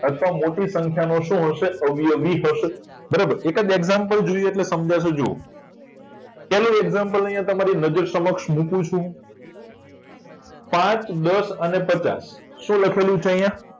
મોટી સંખ્યાઓનો શું વધશે અવયવી હશે બરાબર એક જ example જોઈએ એટલે સમજાશે પહેલ example અહિયાં તમારી નજર સમક્ષ મુકું છું પાચ દસ અને પચાસ શું લખેલું છે અહીંયા